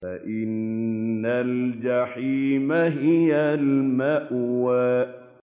فَإِنَّ الْجَحِيمَ هِيَ الْمَأْوَىٰ